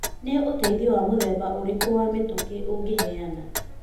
Nĩ ũteithio wa mũthemba ũrĩkũ wa mĩtũkĩ ũngĩheana?